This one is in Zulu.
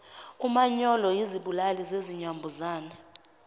umanyolo izibulali zinambuzane